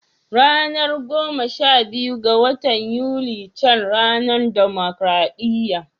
Ranar goma sha biyu ga watan Yuni ca ranar dimokradiyya